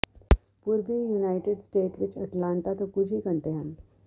ਪੂਰਬੀ United State ਵਿਚ Atlanta ਤੋਂ ਕੁਝ ਹੀ ਘੰਟੇ ਹਨ